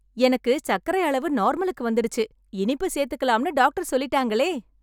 எனக்கு சர்க்கரை அளவு நார்மலுக்கு வந்துடுச்சு, இனிப்பு சேர்த்துக்கலாம்ன்னு டாக்டர் சொல்லிட்டாங்களே...